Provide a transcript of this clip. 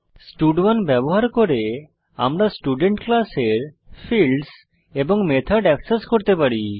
স্টাড1 ব্যবহার করে আমরা স্টুডেন্ট ক্লাসের ফিল্ডস এবং মেথড অ্যাক্সেস করতে পারি